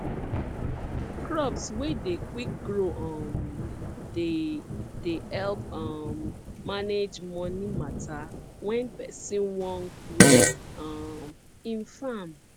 crops wey dey quick grow um dey dey help um manage money matter when person wan grow um im farm